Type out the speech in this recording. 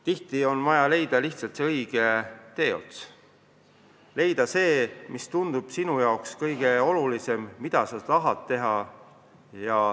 Tihti on vaja leida lihtsalt see õige teeots – leida see, mis tundub sinu jaoks kõige olulisem, mida sa tahad teha.